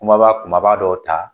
Kuma ba kumaba dɔw ta